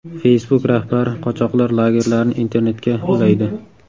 Facebook rahbari qochoqlar lagerlarini internetga ulaydi.